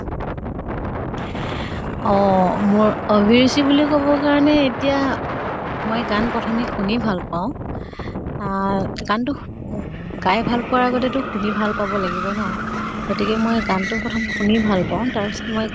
অহ মোৰ অভিৰুচি বুলি কʼব কাৰণে এতিয়া মই গান প্ৰথমে শুনি ভাল পাওঁ। আহ গান তো শু গাই ভাল পোৱাৰ আগতেতো শুনি ভাল পাব লাগিব ন। গতিকে মই গান তো প্ৰথম শুনি ভাল পাওঁ, তাৰ পাছত মই